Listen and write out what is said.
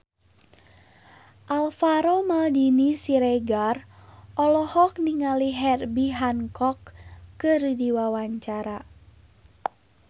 Alvaro Maldini Siregar olohok ningali Herbie Hancock keur diwawancara